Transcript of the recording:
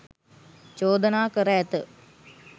චෝදනා කර ඇත.